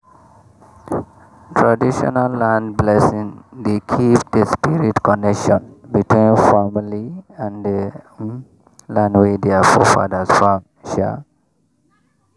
traditional land blessing dey keep the spirit connection between family and the um land wey their forefathers farm. um